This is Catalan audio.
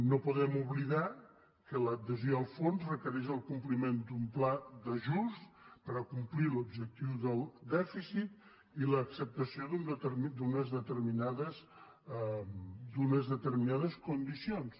no podem oblidar que l’adhesió al fons requereix el compliment d’un pla d’ajust per complir l’objectiu del dèficit i l’acceptació d’unes determinades condicions